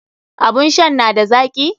Abun shan n ada zaki?